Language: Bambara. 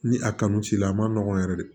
Ni a kanu t'i la a ma nɔgɔn yɛrɛ de